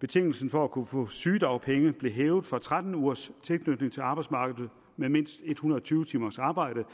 betingelsen for at kunne få sygedagpenge blev hævet fra tretten ugers tilknytning til arbejdsmarkedet med mindst en hundrede og tyve timers arbejde